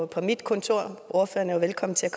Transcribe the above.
på mit kontor ordføreren er jo velkommen til at